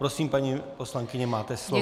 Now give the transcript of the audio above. Prosím, paní poslankyně, máte slovo.